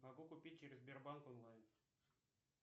могу купить через сбербанк онлайн